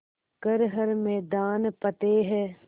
कर हर मैदान फ़तेह